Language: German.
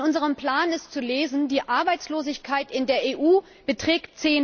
In unserem Plan ist zu lesen Die Arbeitslosigkeit in der EU beträgt